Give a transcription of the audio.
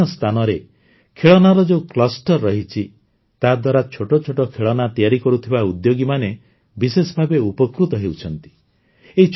ଦେଶର ବିଭିନ୍ନ ସ୍ଥାନରେ ଖେଳନାର ଯେଉଁ କ୍ଲଷ୍ଟର ରହିଛି ତାଦ୍ୱାରା ଛୋଟ ଛୋଟ ଖେଳନା ତିଆରି କରୁଥିବା ଉଦ୍ୟୋଗୀମାନେ ବିଶେଷ ଭାବେ ଉପକୃତ ହେଉଛନ୍ତି